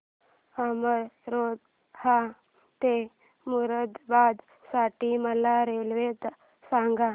अमरोहा ते मुरादाबाद साठी मला रेल्वे सांगा